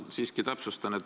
Ma siiski täpsustan.